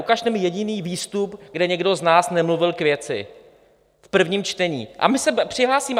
Ukažte mi jediný výstup, kde někdo z nás nemluvil k věci v prvním čtení, a my se přihlásíme.